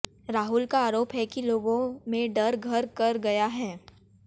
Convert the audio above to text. राहुल का आरोप है कि लोगों में डर घर कर गया है